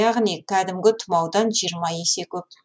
яғни кәдімгі тұмаудан жиырма есе көп